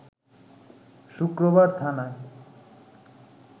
শুক্রবার থানায়